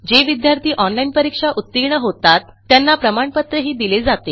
जे विद्यार्थी ऑनलाईन परीक्षा उत्तीर्ण होतात त्यांना प्रमाणपत्रही दिले जाते